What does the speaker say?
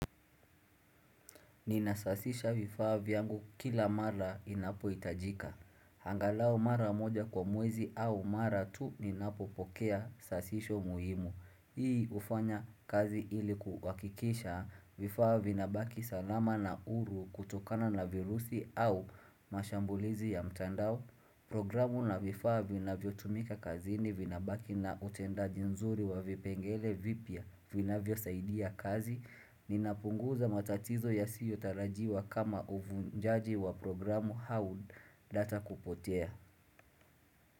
Ninasasisha vifaa viyangu kila mara inapo itajika. Angalau mara moja kwa mwezi au mara tu ninapopokea sasisho muhimu. Hii hufanya kazi ili kuhakikisha vifaa vinabaki salama na huru kutokana na virusi au mashambulizi ya mtandao. Programu na vifaa vinavyo tumika kazini vinabaki na utendaji nzuri wavipengele vipya vinavyo saidia kazi. Ninapunguza matatizo ya siyo tarajiwa kama uvunjaji wa programu au data kupotea.